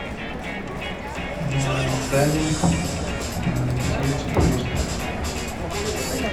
дайвинг гостиница турист